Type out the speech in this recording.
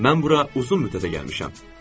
Mən bura uzun müddətə gəlmişəm.